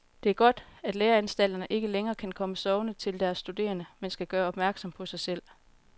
Det er godt, at læreanstalterne ikke længere kan komme sovende til deres studerende, men skal gøre opmærksom på sig selv.